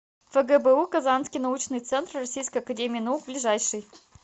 фгбу казанский научный центр российской академии наук ближайший